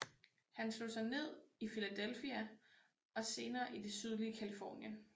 Han slog sig ned i Philadelphia og senere i det sydlige Californien